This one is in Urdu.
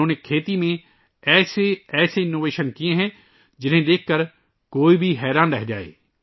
انہوں نے زراعت میں ایسی ایسی ایجادات کی ہیں ، جنہیں دیکھ کر ہر ایک حیران رہ جائے